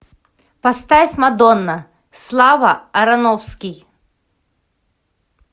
поставь мадонна слава ароновский